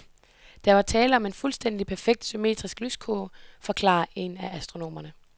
Der var tale om en fuldstændig perfekt, symmetrisk lyskurve, forklarer en af astronomerne.